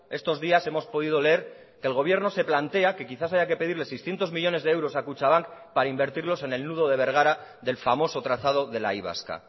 estos días hemos podido leer el gobierno se plantea que quizás haya que pedirle seiscientos millónes de euros a kutxabank para invertirlos en el nudo de bergara del famoso trazado de la y vasca